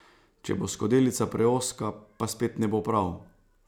Če bo skodelica preozka, pa spet ne bo prav.